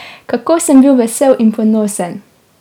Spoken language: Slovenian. Kako sem bil vesel in ponosen!